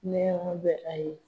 Mɛn ɲɔgɔn bɛɛ ka ye